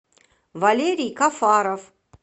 валерий кафаров